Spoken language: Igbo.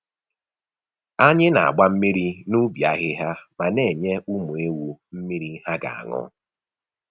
Anyị na-agba mmiri n’ubi ahịhịa ma na-enye ụmụ ewu mmiri ha ga-aṅụ.